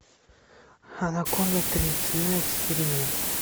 анаконда три цена эксперимента